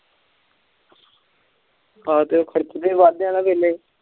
ਹਨ ਤੇ ਖਰਚੇ ਦੇ ਵਜਦੇ ਵੇਲੇ